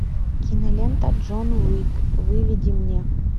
кинолента джон уик выведи мне